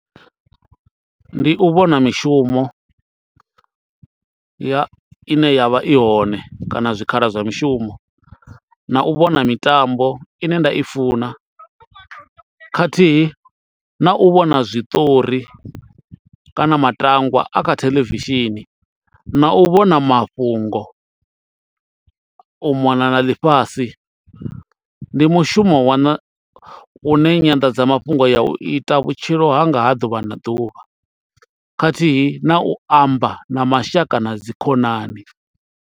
Ndi u vhona mishumo ya i ne ya vha i hone kana zwikhala zwa mishumo na u vhona mitambo ine nda i funa khathihi na u vhona zwiṱori kana matangwa a kha theḽevishini na u vhona mafhungo u mona na ḽifhasi. Ndi mushumo waṋa u ne nyanḓadzamafhungo ya u ita vhutshilo hanga ha ḓuvha na ḓuvha khathihi na u amba na mashaka na dzikhonani.